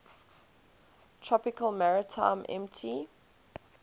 tropical maritime mt